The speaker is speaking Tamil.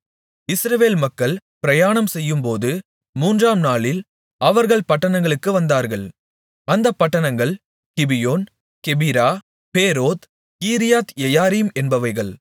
இஸ்ரவேல் மக்கள் பிரயாணம்செய்யும்போது மூன்றாம் நாளில் அவர்கள் பட்டணங்களுக்கு வந்தார்கள் அந்தப் பட்டணங்கள் கிபியோன் கெபிரா பேரோத் கீரியாத்யெயாரீம் என்பவைகள்